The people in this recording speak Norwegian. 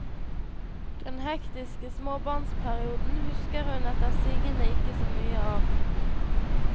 Den hektiske småbarnsperioden husker hun etter sigende ikke så mye av.